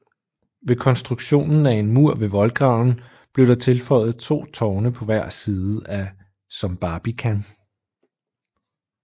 Med konstruktionen af en mur ved voldgraven blev der tilføjet to tårne på hver side som barbican